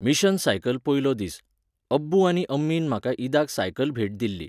Mission cycle पयलो दीस. अब्बू आनी अम्मीन म्हाका ईदाक सायकल भेट दिल्ली.